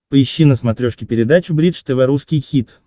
поищи на смотрешке передачу бридж тв русский хит